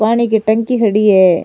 पानी की टंकी खड़ी है।